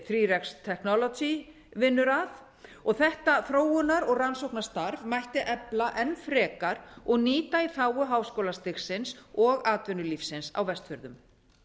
þrjá x technology vinnur að þetta þróunar og rannsóknastarf mætti efla enn frekar og nýta í þágu háskólastigsins og atvinnulífsins á vestfjörðum